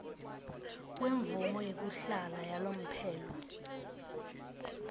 kwemvumo yekuhlala yalomphelo